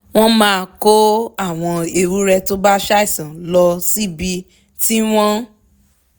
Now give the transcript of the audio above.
wọ́n máa kó àwọn ewúrẹ́ tó bá ṣàìsàn lọ síbi tí wọ́n